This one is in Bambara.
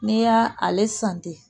N'i y'aa ale san ten